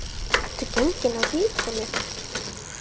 Ertu genginn af vitinu?